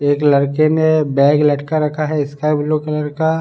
एक लड़के ने बैग लटका रखा है स्काई ब्लू कलर का --